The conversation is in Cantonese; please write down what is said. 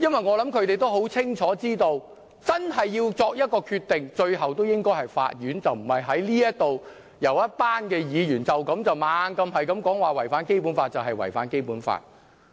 我想它很清楚知道，最終真的應該由法院作一個決定，而不是由一群立法會議員不停說"一地兩檢"的方案違反《基本法》，就是真的違反《基本法》。